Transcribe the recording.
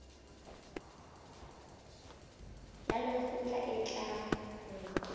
ya lekgotla e tla ho